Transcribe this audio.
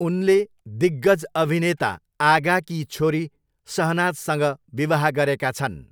उनले दिग्गज अभिनेता आगाकी छोरी शहनाजसँग विवाह गरेका छन्।